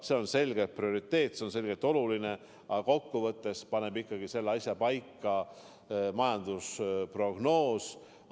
See on selgelt prioriteet ja see on selgelt oluline, aga kokkuvõttes paneb selle asja paika ikkagi majandusprognoos.